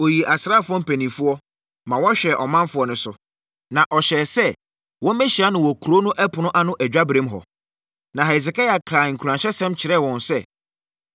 Ɔyii asraafoɔ mpanimfoɔ, ma wɔhwɛɛ ɔmanfoɔ no so, na ɔhyɛɛ sɛ wɔmmɛhyia no wɔ kuro no ɛpono ano adwaberem hɔ. Na Hesekia kaa nkuranhyɛsɛm kyerɛɛ wɔn sɛ,